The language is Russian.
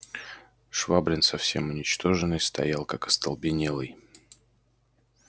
швабрин совсем уничтоженный стоял как остолбенелый